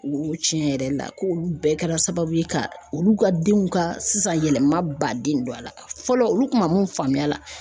O tiɲɛ yɛrɛ la ko olu bɛɛ kɛra sababu ye ka olu ka denw ka sisan yɛlɛma ba den don a la fɔlɔ olu kun ma mun faamuya.